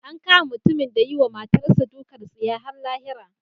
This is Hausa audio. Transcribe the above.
An kama mutumin da ya yi wa matarsa ​​dukan tsiya har lahira.